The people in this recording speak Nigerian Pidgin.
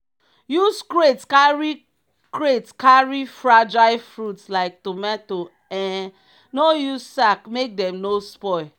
use crate carry crate carry fragile fruit like tomato um no use sack make dem no spoil.